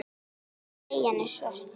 Treyjan er svört.